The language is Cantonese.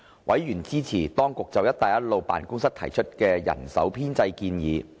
委員支持當局就"一帶一路"辦公室提出的人手編制建議。